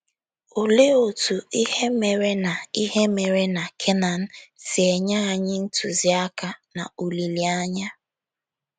Olee otú ihe mere na ihe mere na Kenan si enye anyị ntụziaka na olileanya?